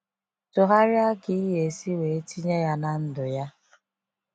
Tụgharịa ka iyesi wee tinye ya na ndụ ya.